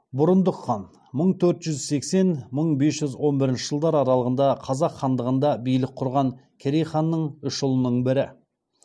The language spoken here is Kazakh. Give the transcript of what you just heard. бұрындық хан мың төрт жүз сексен мың бес жүз он бірінші жылдар аралығында қазақ хандығында билік құрған керей ханның үш ұлының бірі